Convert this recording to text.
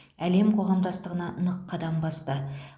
әлем қоғамдастығына нық қадам басты